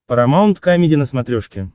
парамаунт камеди на смотрешке